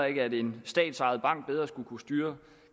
ikke at en statsejet bank bedre skulle kunne styre